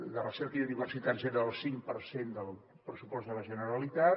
de recerca i universitats era el cinc per cent del pressupost de la generalitat